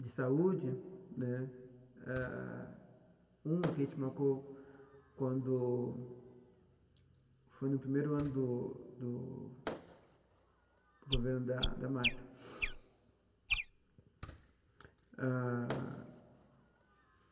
de saúde né, ah uma que a gente marcou quando foi no primeiro ano do do governo da da Marta ah.